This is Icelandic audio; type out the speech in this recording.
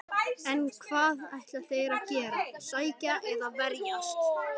En hvað ætla þeir að gera, sækja eða verjast?